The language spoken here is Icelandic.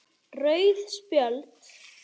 Rauð spjöld